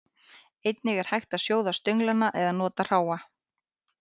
Einnig er hægt að sjóða stönglana eða nota hráa.